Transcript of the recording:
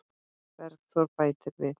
Bergþór bætir við.